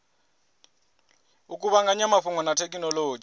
u kuvhanganya mafhungo na thekhinolodzhi